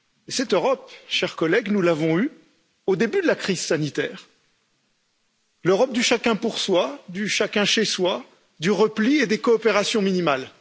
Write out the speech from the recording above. Cette Europe, chers collègues, nous l'avons eue au début de la crise sanitaire l'Europe du chacun pour soi, du chacun chez soi, du repli et des coopérations minimales.